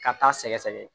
Ka taa sɛgɛsɛgɛ